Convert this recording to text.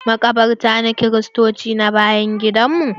Maƙabartan kiristoci na bayan gidan mu.